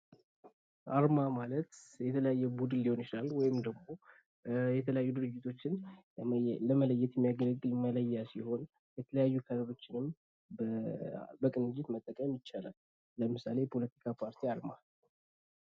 አርማ ማለት የተለያየ ቡድን ሊሆን ይችላል። ወይም ደግሞ የተለያዩ ድርጅቶችን ለመለየት የሚያገለግል መለያ ሲሆን የተለያዩ ከለሮችንም በቅንጅት መጠቀም ይቻላል። ለምሳሌ የፖለቲካ ፓርቲ አርማ